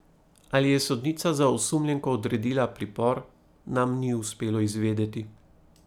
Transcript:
Ali je sodnica za osumljenko odredila pripor, nam ni uspelo izvedeti.